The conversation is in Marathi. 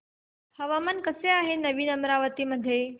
हवामान कसे आहे नवीन अमरावती मध्ये